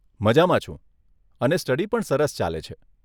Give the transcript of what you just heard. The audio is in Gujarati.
મજામાં છું અને સ્ટડી પણ સરસ ચાલે છે.